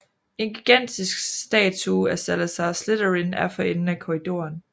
En gigantisk statue af Salazar Slytherin er for enden af korridoren